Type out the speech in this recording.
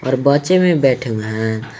और बच्चे भी बैठे हैं।